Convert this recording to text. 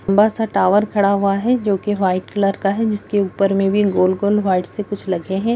लंबा-सा tower खड़ा हुआ है जो कि व्हाइट कलर का है जिसके ऊपर में भी गोल-गोल व्हाइट से कुछ लगे हैं।